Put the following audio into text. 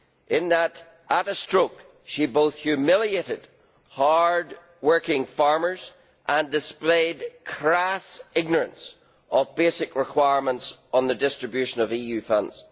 In that, at a stroke, she both humiliated hard working farmers and displayed crass ignorance of basic requirements for the distribution of EU funds.